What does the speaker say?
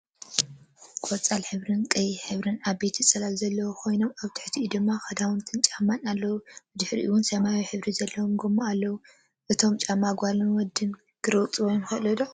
ቆፃል ሕብሪን ቀይሕ ሕብርን ዓበነይቲ ፅላል ዘሎኮይኑ ኣብ ትሒትኡ ድማ ክዳንትን ጫማታት ኣለው። ብድሕርይኦም ሰማያዊ ሕብሪ ዘለዎም ጎማ ኣሎ። እቶም ጫማታት ጋልን ወዲን ክረግፅዎም ይክእሉ ዶ?